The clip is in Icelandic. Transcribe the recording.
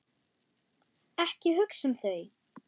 Ekki hugsa um þau!